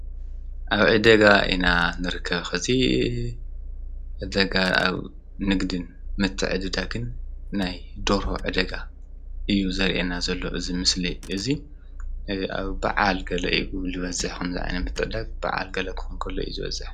አብ ዕዳጋ ኢና ንርከብ ከዚ ዕደጋ አብ ንግድን ምትዕድዳግን ናይ ደርሆ ዕደጋ እዩ ዘርእየና ዘሎ እዚ ምስሊ እዙይ በዓል ገለ እዩ ዝበዝሕ ኸምዚ ዓይነት ምትዕድዳግ በዓል ክኸውን ከሎ እዩ ዝበዝሕ።